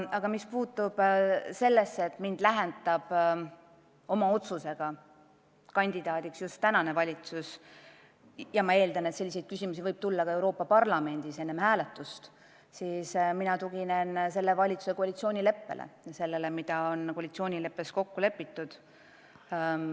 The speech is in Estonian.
Aga mis puutub sellesse, et mind saadab oma otsusega kandidaadiks just praegune valitsus – ma muuseas eeldan, et selliseid küsimusi võib tulla ka Euroopa Parlamendis enne hääletust –, siis mina tuginen valitsuse koalitsioonileppele ja sellele, mis on seal kokku lepitud.